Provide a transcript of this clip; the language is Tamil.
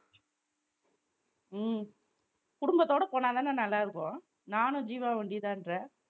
உம் குடும்பத்தோட போனாதானே நல்லா இருக்கும் நானும் ஜீவாவும் ஒண்டி தான்ற.